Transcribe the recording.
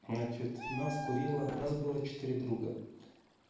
значит нас курила нас было четыре друга